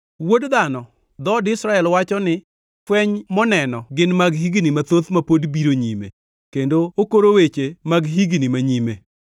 Wuod dhano, dhood Israel wacho ni, Fweny moneno gin mag higni mathoth ma pod biro nyime, kendo okoro weche mag higni manyime.